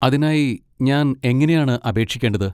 അതിനായി ഞാൻ എങ്ങനെയാണ് അപേക്ഷിക്കേണ്ടത്?